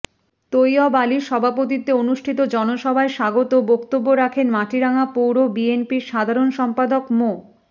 তৈয়ব আলীর সভাপতিত্বে অনুষ্ঠিত জনসভায় স্বাগত বক্তব্য রাখেন মাটিরাঙ্গা পৌর বিএনপির সাধারণ সম্পাদক মো